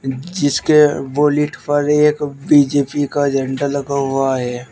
जिसके बोलेट पर एक बी_जे_पी का झंडा लगा हुआ है।